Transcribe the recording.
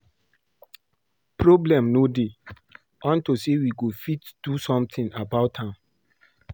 Problem no dey unto say we go fit do something about am